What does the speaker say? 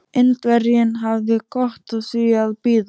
Indverjinn hafði gott af því að bíða.